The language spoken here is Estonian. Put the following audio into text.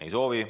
Ei soovi.